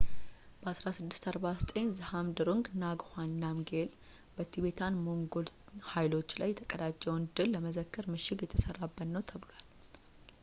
በ 1649 ዝሃብድሩንግ ንጋዋንግ ናምግዬል በቲቤታን-ሞንጎል ኃይሎች ላይ የተቀዳጀውን ድል ለመዘከር ምሽግ የሰራበት ነው ተብሏል